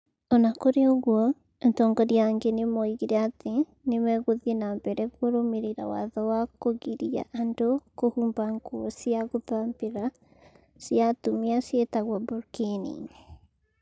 O na kũrĩ ũguo, atongori angĩ nĩ moigire atĩ nĩ megũthiĩ na mbere kũrũmĩrĩra watho wa kũgiria andũ kũhumba nguo cia gũthambĩra cia atumia ciĩtagwo burkini.